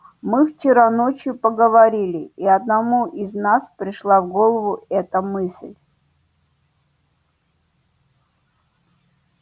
мы вчера ночью поговорили и одному из нас пришла в голову эта мысль